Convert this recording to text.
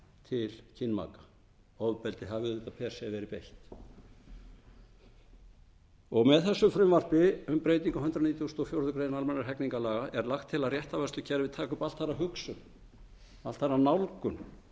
til kynmaka ofbeldi hafi auðvitað per sem verið beitt með þessu frumvarpi um breytingu á hundrað níutíu og fjórar greinar almennra hegningarlaga er lagt til að réttarvörslukerfið taki upp allt aðra hugsun allt aðra nálgun í kynferðisbrotamálum